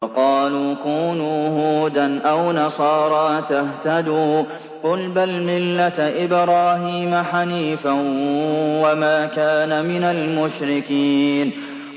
وَقَالُوا كُونُوا هُودًا أَوْ نَصَارَىٰ تَهْتَدُوا ۗ قُلْ بَلْ مِلَّةَ إِبْرَاهِيمَ حَنِيفًا ۖ وَمَا كَانَ مِنَ الْمُشْرِكِينَ